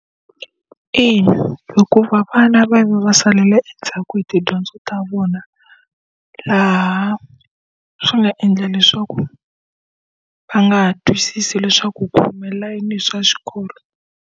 Ina hikuva vana va ve salela endzhaku hi tidyondzo ta vona, laha swi nga endla leswaku va nga ha twisisi leswaku ku humelela yini hi swa xikolo.